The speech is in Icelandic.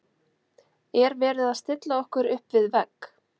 Er verið að stilla okkur upp við vegg?